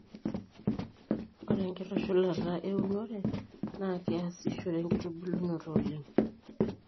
ore enkitushulata eunore naa keeyasishore enkitubulunoto oleng